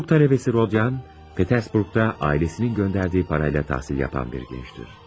Hüquq tələbəsi Rodyan, Peterburqda ailəsinin göndərdiyi pulla təhsil yapan bir gəncdir.